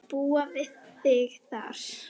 Til að búa við þig þar.